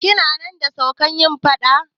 Kina nan da suka yi faɗa?